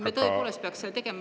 Me tõepoolest peaks seda tegema.